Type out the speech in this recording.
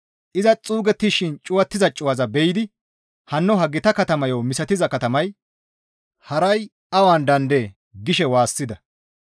Iza xuugettishin cuwattiza cuwaza be7idi, «Hanno ha gita katamayo misatiza katamay haray awan daandee?» gishe waassida.